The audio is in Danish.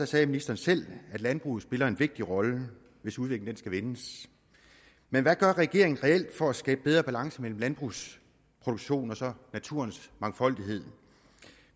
sagde ministeren selv at landbruget spiller en vigtig rolle hvis udviklingen skal vendes men hvad gør regeringen reelt for at skabe bedre balance mellem landbrugsproduktion og så naturens mangfoldighed